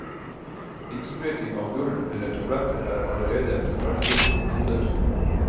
Innsprøytning av gull eller tabletter er allerede velbrukte metoder.